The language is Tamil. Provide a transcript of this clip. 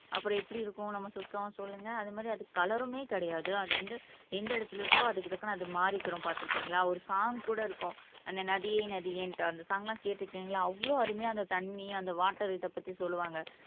அப்புறம் எப்படி இருக்கும் நம்ம சுத்தம் சொல்லுங்க அதே மாதிரி அதுக்கு கலருமே கிடையாது அது வந்து எந்த இடத்தில் இருக்கோ அதுக்கு தக்கன அது மாறிக்கும் பார்த்து இருக்கீங்களா ஒரு சாங் கூட இருக்கும் அந்த நதியே நதியேன்னுட்டு அந்த சாங் எல்லாம் கேட்டு இருக்கீங்களா அவ்வளவு அருமையா அந்த தண்ணி அந்த வாட்டர் இத பத்தி சொல்லுவாங்க